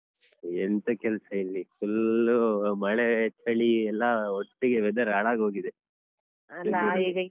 ಎಂತ ಕೆಲಸ ಇಲ್ಲಿ full ಮಳೆ, ಚಳಿ ಎಲ್ಲಾ ಒಟ್ಟಿಗೆ weather ಹಾಳಾಗ್ಹೋಗಿದೆ